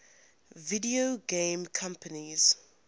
video game companies